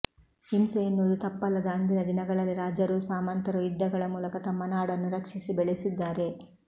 ಹಿಂಸೆ ಎನ್ನುವುದು ತಪ್ಪಲ್ಲದ ಅಂದಿನ ದಿನಗಳಲ್ಲಿ ರಾಜರೂ ಸಾಮಂತರೂ ಯುದ್ಧಗಳ ಮೂಲಕ ತಮ್ಮ ನಾಡನ್ನು ರಕ್ಷಿಸಿ ಬೆಳೆಸಿದ್ದಾರೆ